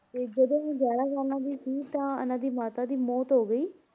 ਤੇ ਜਦੋਂ ਇਹ ਗਿਆਰਾਂ ਸਾਲਾਂ ਦੀ ਸੀ ਤਾਂ ਇਹਨਾਂ ਦੀ ਮਾਤਾ ਦੀ ਮੌਤ ਹੋ ਗਈ,